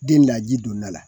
Den la ji donda la